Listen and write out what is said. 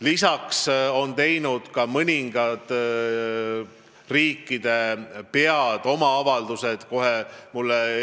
Lisaks on ka mõningad riigipead avalduse teinud.